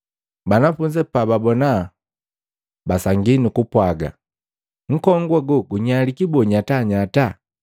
Banafunzi pababona basangi nukupwaga, “Nkongu ago gunyaliki boo nyatanyata?”